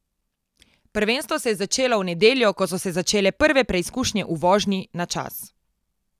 Prvenstvo se je začelo v nedeljo, ko so se začele prve preizkušnje v vožnji na čas.